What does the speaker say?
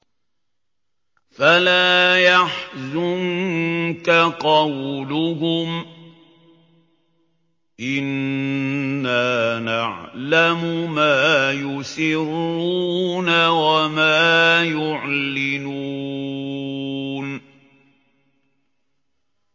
فَلَا يَحْزُنكَ قَوْلُهُمْ ۘ إِنَّا نَعْلَمُ مَا يُسِرُّونَ وَمَا يُعْلِنُونَ